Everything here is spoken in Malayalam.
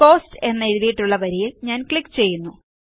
കോസ്റ്റ് എന്നെഴുതിയിട്ടുള്ള വരിയിൽ ഞാൻ ക്ലിക്ക് ചെയ്യുന്നു